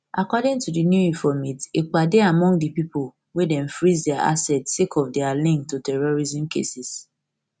according to di new informate ekpa dey among di pipo wey dem freeze dia assest sake of dia link to terrorism cases